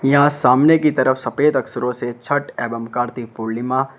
यहां सामने की तरफ सफेद अक्षरों से छठ एवं कार्तिक पूर्णिमा--